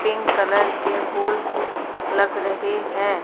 Pink colour के फूल लग रहे हैं।